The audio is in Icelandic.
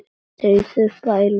Þrífðu upp æluna.